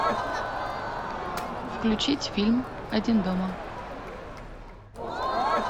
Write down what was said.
включить фильм один дома